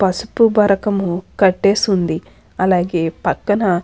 పసుపు బరకము కట్టేసుంది అలాగే పక్కన --